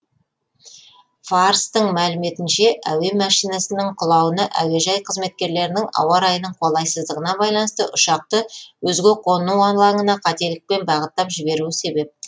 фарстың мәліметінше әуе машинасының құлауына әуежай қызметкерлерінің ауа райының қолайсыздығына байланысты ұшақты өзге қону алаңына қателікпен бағыттап жіберуі себеп